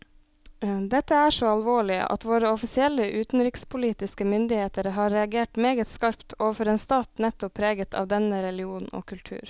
Dette er så alvorlig at våre offisielle utenrikspolitiske myndigheter har reagert meget skarpt overfor en stat nettopp preget av denne religion og kultur.